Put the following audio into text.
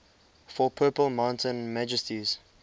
for purple mountain majesties